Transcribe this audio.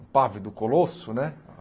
O pávido Colosso, né?